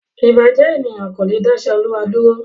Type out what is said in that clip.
Ìbàjẹ́ ènìyàn kò le dá iṣẹ́ Ọlọ́run dúró.